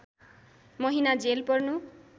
महिना जेल पर्नु